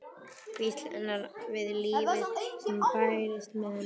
Hvísl hennar við lífið sem bærist með henni.